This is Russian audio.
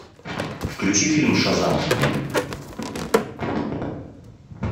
включи фильм шазам